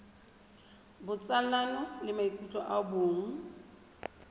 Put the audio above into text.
botsalano le maikutlo a bong